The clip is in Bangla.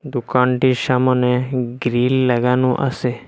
দোকানটির সামোনে গ্রীল লাগানো আসে ।